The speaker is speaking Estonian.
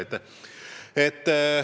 Selge!